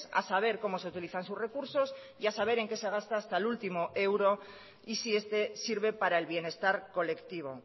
a saber cómo se utilizan sus recursos y a saber en qué se gasta hasta el último euro y si este sirve para el bienestar colectivo